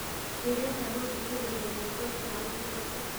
ndĩrenda gũthikĩrĩria nyĩmbo cia ũmũthĩ